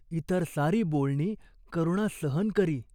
इतर सारी बोलणी करुणा सहन करी.